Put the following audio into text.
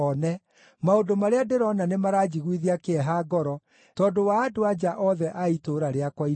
Maũndũ marĩa ndĩrona nĩmaranjiguithia kĩeha ngoro, tondũ wa andũ-a-nja othe a itũũra rĩakwa inene.